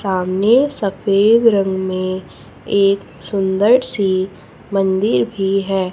सामने सफेद रंग में एक सुंदर सी मंदिर भी है।